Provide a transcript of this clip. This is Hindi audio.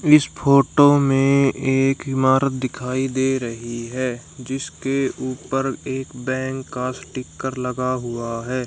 इस फोटो में एक ईमारत दिखाई दे रही हैं जिसके ऊपर एक बैंक का स्टीकर लगा हुआ हैं।